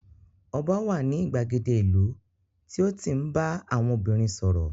Ọba wà ní ìgbàgede ìlú tí ó ń tí ń bá àwọn obìnrin sọ̀rọ̀